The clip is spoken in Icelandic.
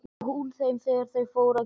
Og hún þeim þegar þau fóru að gefa sig.